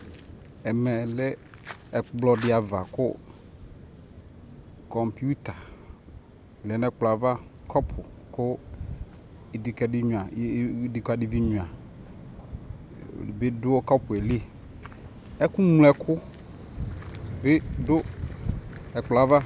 ɛmɛ lɛ ɛkplɔ di aɣa kʋ kɔmpʋta lɛnʋ ɛkplɔɛ aɣa, kɔpʋ kʋ idikadi nyʋa bi dʋ kɔpɛ li, ɛkʋ mlɔ ɛkʋ bi dʋ ɛkplɔɛ aɣa